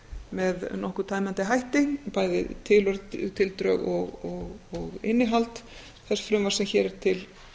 með nokkuð tæmandi hætti bæði tildrög og innihald þess frumvarps sem hér er til